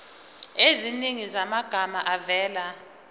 eziningi zamagama avela